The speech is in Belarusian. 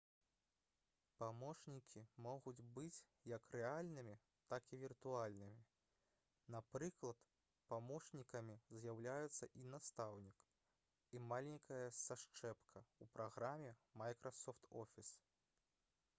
памочнікі могуць быць як рэальнымі так і віртуальнымі. напрыклад памочнікамі з'яўляюцца і настаўнік і маленькая сашчэпка ў праграме «майкрасофт офіс»